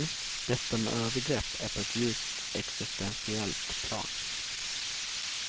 Detta med övergrepp är på ett djupt existentiellt plan.